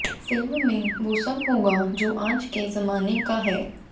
film में वो सब होगा जो आज के ज़माने का है